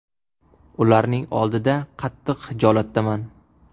Ularning oldida qattiq xijolatdaman.